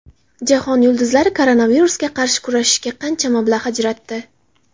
Jahon yulduzlari koronavirusga qarshi kurashishga qancha mablag‘ ajratdi?.